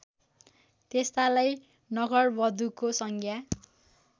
त्यस्तालाई नगरवधुको संज्ञा